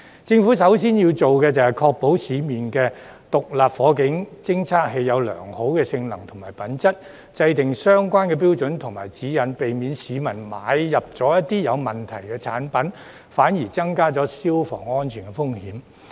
政府首先要做的是確保市面上的獨立火警偵測器具備良好的性能和品質，並制訂相關的標準和指引，避免市民購買一些有問題的產品，反而增加消防安全風險。